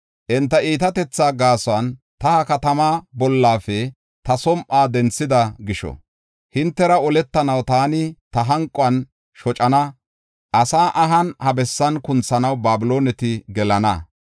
Enta iitatetha gaason, ta ha katamaa bollafe ta som7uwa denthida gisho, hintera oletanaw taani ta hanquwan shocana asaa ahan ha bessan kunthanaw Babilooneti gelana.